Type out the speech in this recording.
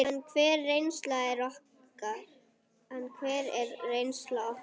En hver er reynsla okkar?